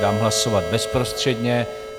Dám hlasovat bezprostředně.